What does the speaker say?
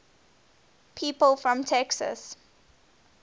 people from texas